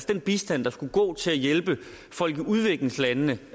den bistand der skulle gå til at hjælpe folk i udviklingslandene